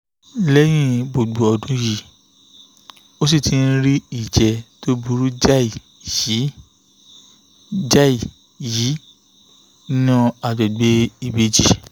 lẹ́yìn gbogbo ọdún yìí ó ṣì ń rí ìjẹ́ tó burú jáì yìí jáì yìí nínú àgbègbè ìbejì